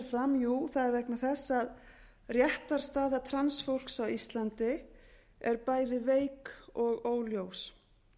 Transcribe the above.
fram jú það er vegna þess að réttarstaða transfólks á íslandi er bæði veik og óljós